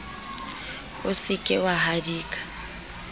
o se ke wa hadika